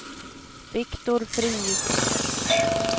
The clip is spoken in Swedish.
Viktor Frid